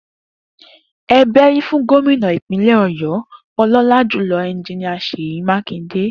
E bérí fún Gómìnà ìpínlẹ̀ ọ̀yọ́, ọlọ́lájùlọ Engineer Sèyí Mákindé